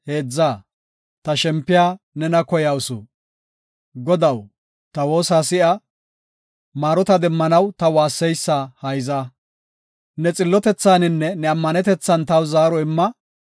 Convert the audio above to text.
Godaw, ta woosa si7a; maarota demmanaw ta waasseysa hayza. Neeni xillotethaninne ne ammanetethan taw zaaro imma.